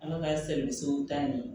An ka sɛmisiw ta nin